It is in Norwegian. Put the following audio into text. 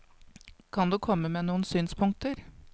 Kan du komme med noen synspunkter?